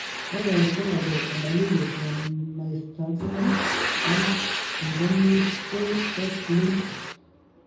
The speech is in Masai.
kakwa irbulabol o dalili e Nystagmus 1,congenitsal,X linked?